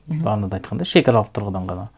мхм бағана да айтқандай шекаралық тұрғыдан ғана